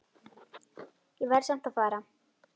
Ég verð samt að fara